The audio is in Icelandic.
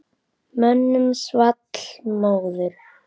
Mönnum svall móður.